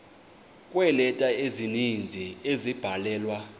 kweeleta ezininzi ezabhalelwa